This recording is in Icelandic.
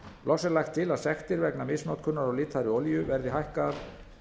loks er lagt til að sektir vegna misnotkunar á litaðri olíu verði hækkaðar